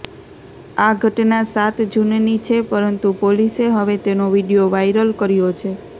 આ ઘટના સાત જૂનની છે પરંતુ પોલીસે હવે તેનો વીડિયો વાયરલ કર્યો છે